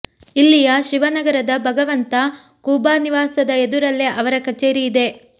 ಇಲ್ಲಿಯ ಶಿವನಗರದ ಭಗವಂತ ಖೂಬಾ ನಿವಾಸದ ಎದುರಲ್ಲೇ ಅವರ ಕಚೇರಿ ಇದೆ